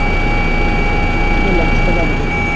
Bónus oftast með lægsta verðið